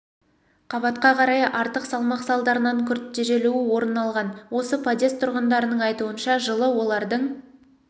қабатқа қарай артық салмақ салдарынан күрт тежелуі орын алған осы подъезд тұрғындарының айтуынша жылы олардың